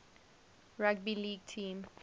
rugby league team